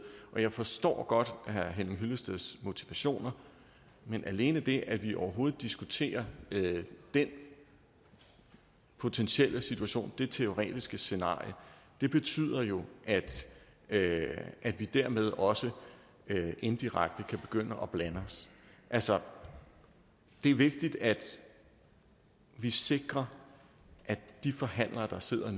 og jeg forstår godt herre henning hyllesteds motivationer men alene det at vi overhovedet diskuterer den potentielle situation det teoretiske scenarie betyder jo at at vi dermed også indirekte kan begynde at blande os altså det er vigtigt at vi sikrer at de forhandlere der sidder og